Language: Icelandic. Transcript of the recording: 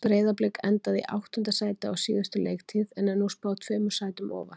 Breiðablik endaði í áttunda sæti á síðustu leiktíð en er nú spáð tveimur sætum ofar.